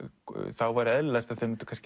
þá væri eðlilegast að þau myndu